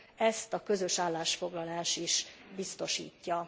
Ezt a közös állásfoglalás is biztosítja.